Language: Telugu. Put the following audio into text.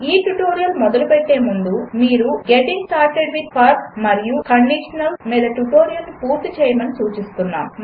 ఈ ట్యుటోరియల్ మొదలు పెట్టే ముందు మీరు గెటింగ్ స్టార్టెడ్ విత్ ఫర్ మరియు కండిషనల్స్ మీద ట్యుటోరియల్ను పూర్తి చేయమని సూచిస్తున్నాము